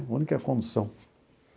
A única condução.